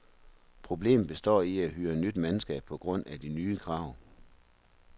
Problemet består i at hyre nyt mandskab på grund af de nye krav.